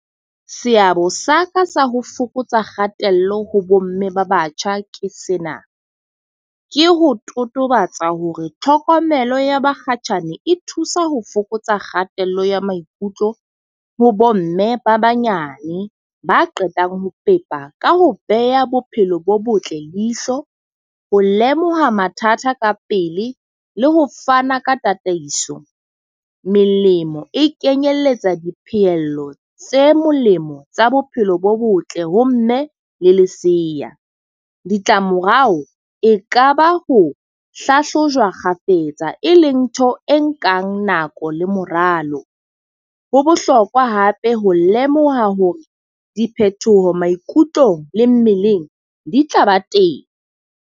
Seabo sa ka sa ho fokotsa kgatello ho bo mme ba batjha ke sena. Ke ho totobatsa hore tlhokomelo ya bakgatjhane e thusa ho fokotsa kgatello ya maikutlo ho bo mme ba banyane ba qetang ho pepa ka ho beha bophelo bo botle leihlo, ho lemoha mathata ka pele, le ho fana ka tataiso. Melemo e kenyelletsa diphello tse molemo tsa bophelo bo botle ho mme le lesea. Ditlamorao e ka ba ho hlahlojwa kgafetsa, e leng ntho e nkang nako le moralo. Ho bohlokwa hape ho lemoha hore diphethoho maikutlong le mmeleng di tla ba teng.